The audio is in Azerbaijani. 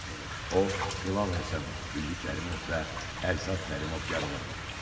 O, Hilal Həsənov, Ülvi Kərimov və Əlşab Kərimov yaralanıb.